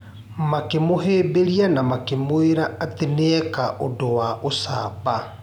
Makĩ mũhĩmbĩria na makĩmwĩra ati nĩekire ũndũ wa ũcamba.